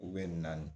naani